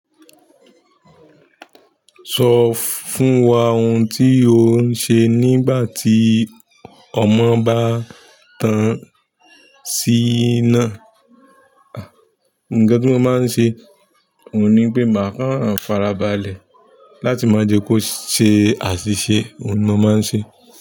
Sọ fún wa ohun tí ò ń ṣe nígbà tí ọmọ bá tán sí iná. Nǹkan tí mo máa ń ṣe, oun ní pé màá kàn farabalẹ̀ láti má jẹ kó ṣe àṣìṣe. Ohun ni mo máa ń ṣe.